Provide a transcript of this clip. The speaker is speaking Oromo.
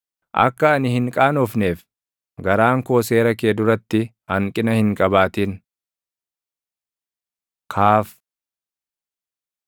Akka ani hin qaanofneef garaan koo seera kee duratti hanqina hin qabaatin. כ Kaaf